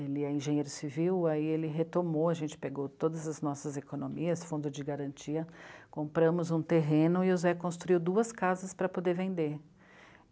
Ele é engenheiro civil, aí ele retomou, a gente pegou todas as nossas economias, fundo de garantia, compramos um terreno e o Zé construiu duas casas para poder vender.